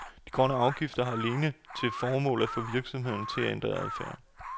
De grønne afgifter har alene til formål, at få virksomhederne til at ændre adfærd.